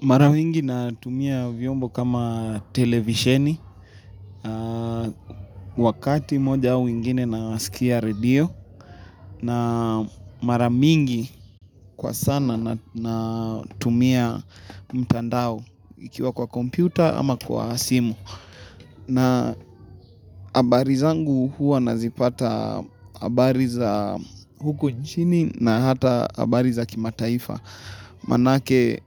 Mara mingi natumia vyombo kama televisheni, wakati moja au ingine nasikia radio, na mara mingi kwa sana natumia mtandao ikiwa kwa kompyuta ama kwa simu. Na habari zangu huwa nazipata habari za huko nchini na hata habari za kimataifa. Manake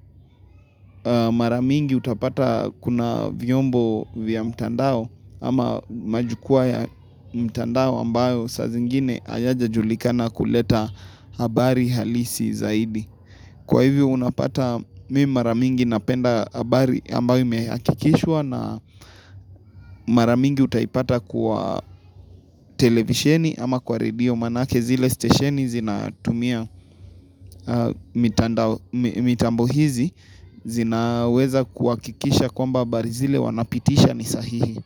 mara mingi utapata kuna vyombo vya mtandao ama majukwaa ya mtandao ambayo saa zingine hayajajulikana kuleta habari halisi zaidi. Kwa hivyo unapata mimi mara mingi napenda habari ambayo imehakikishwa na mara mingi utaipata kwa televisheni ama kwa radio manake zile stesheni zinatumia mitambo hizi zinaweza kuhakikisha kwamba habari zile wanapitisha ni sahihi.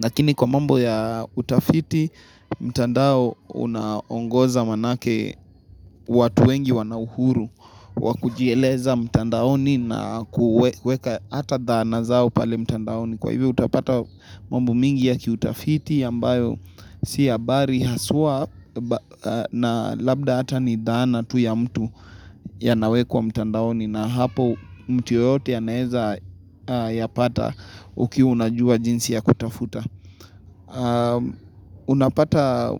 Kakini kwa mambo ya utafiti, mtandao unaongoza manake watu wengi wana uhuru wa kujieleza mtandaoni na kuweka hata dhana zao pale mtandaoni Kwa hivyo utapata mambo mingi ya kiutafiti ambayo si habari haswa na labda hata ni dhana tu ya mtu yanawekwa mtandaoni na hapo mtu yeyote anaweza yapata ukiwa unajua jinsi ya kutafuta Unapata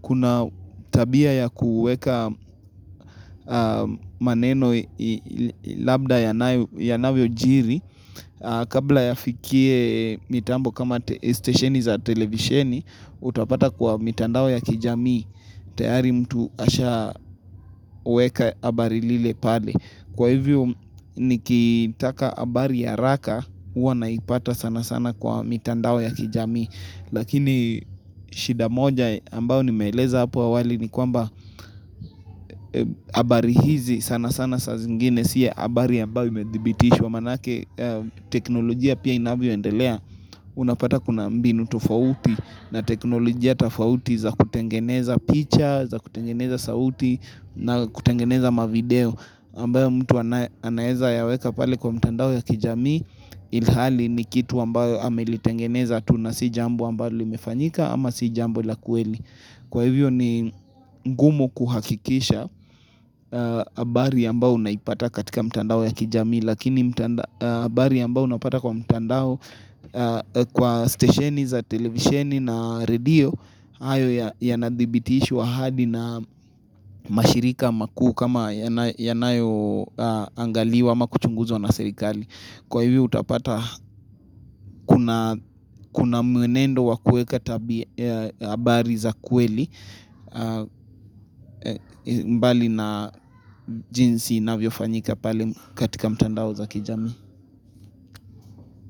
kuna tabia ya kuweka maneno labda yanavyojiri Kabla yafikie mitambo kama stesheni za televisheni Utapata kwa mitandao ya kijamii tayari mtu ashaweka habari lile pale Kwa hivyo nikitaka habari haraka huwa naipata sana sana kwa mitandao ya kijamii Lakini shida moja ambayo nimeeleza hapo awali ni kwamba habari hizi sana sana saa zingine si habari ambayo imedhibitishwa Manake teknolojia pia inavyo endelea unapata kuna mbinu tofauti na teknolojia tofauti za kutengeneza picture za kutengeneza sauti na kutengeneza mavideo ambayo mtu anaweza yaweka pale kwa mtandao ya kijamii ilhali ni kitu ambayo amelitengeneza tu na si jambo ambayo limefanyika ama si jambo la kweli kwa hivyo ni ngumu kuhakikisha habari ambayo unaipata katika mtandao ya kijamii lakini habari ambayo unaipata kwa mtandao kwa stesheni za televisheni na radio hayo ya adhibitishwa hadi na mashirika makuu kama yanayo angaliwa ama kuchunguzwa na serikali. Kwa hivyo utapata kuna mwenendo wa kuweka habari za kweli mbali na jinsi inavyo fanyika pale katika mtandao za kijamii.